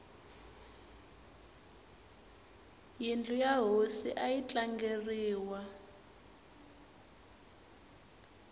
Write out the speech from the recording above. yindlu ya hosi ayi tlangeriwi